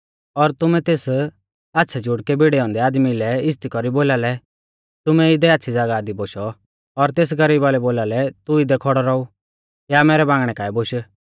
और तुमै तेस आच़्छ़ै जुड़कै भिड़ै औन्दै आदमी लै इज़्ज़ती कौरी बोलालै तुमै इदै आच़्छ़ी ज़ागाह दी बोशौ और तेस गरीबा लै बोलालै तू इदै खौड़ौ रौऊ या मैरै बांगणै काऐ बोश